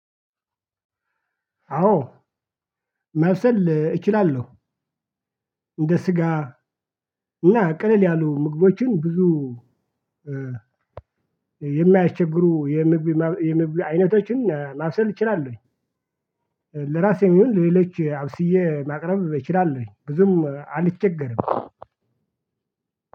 አዎ ማብሰል እችላለሁ። እንደ ስጋ እና ቀለል ያሉ ምግቦችን ብዙ የማያቸስግሩ የምግብ አይነቶችን ማብሰል እችላለሁኝ። ለራሴም ይሁን ሌሎች አብስዬ ማቅረብ እችላለሁኝ። ብዙም አልቸገርም።